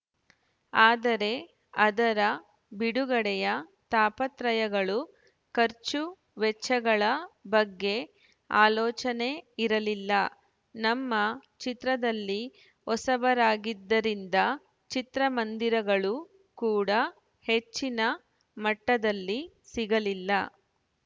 ಆದರೆ ಅದರ ಬಿಡುಗಡೆಯ ತಾಪತ್ರೆಯಗಳು ಖರ್ಚು ವೆಚ್ಚಗಳ ಬಗ್ಗೆ ಆಲೋಚನೆ ಇರಲಿಲ್ಲ ನಮ್ಮ ಚಿತ್ರದಲ್ಲಿ ಹೊಸಬರಾಗಿದ್ದರಿಂದ ಚಿತ್ರಮಂದಿರಗಳು ಕೂಡ ಹೆಚ್ಚಿನ ಮಟ್ಟದಲ್ಲಿ ಸಿಗಲಿಲ್ಲ